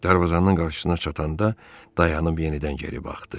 Darvazanın qarşısına çatanda dayanıb yenidən geri baxdı.